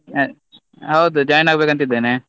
ಹೌದು join ಆಗ್ಬೇಕು ಅಂತ ಇದ್ದೇನೆ.